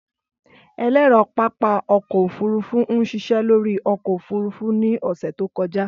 Ẹlẹrọ pápá ọkọ ofurufu n ṣiṣẹ lori ọkọ ofurufu ni ọsẹ to kọja.